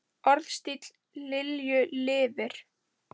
Orðstír Lilju lifir.